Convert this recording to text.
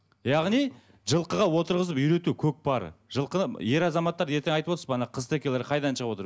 яғни жылқыға отырғызып үйрету көкпары жылқыны ер азаматтар ертең айтып отырсыз ғой ана қызтекелер қайдан шығып отыр